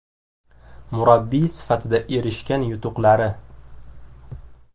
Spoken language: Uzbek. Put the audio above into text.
Murabbiy sifatida erishgan yutuqlari: !